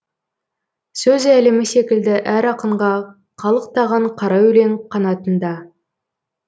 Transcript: сөз әлемі секілді әр ақынға қалықтаған қара өлең қанатында